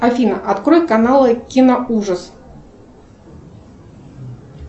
афина открой каналы киноужас